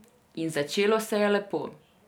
In začelo se je lepo.